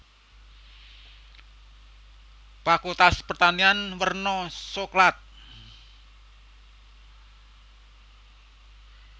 Fakultas Pertanian werna soklat